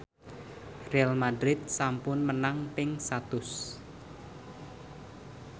Real madrid sampun menang ping satus